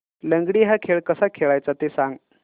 लंगडी हा खेळ कसा खेळाचा ते सांग